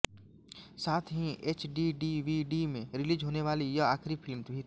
साथ ही एचडीडीवीडी में रिलीज होने वाली यह आखिरी फिल्म भी थी